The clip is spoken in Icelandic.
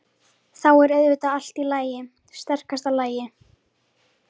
Þá er auðvitað allt í stakasta lagi!